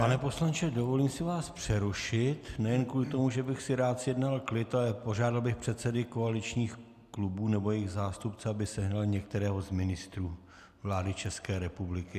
Pane poslanče, dovolím si vás přerušit - nejen kvůli tomu, že bych si rád zjednal klid, ale požádal bych předsedy koaličních klubů nebo jejich zástupce, aby sehnali některého z ministrů vlády České republiky.